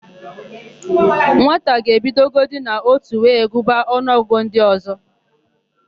Nwata ga-ebidogodi n'ótù wee gụba ọnụọgụgụ ndị ọ̀zọ́.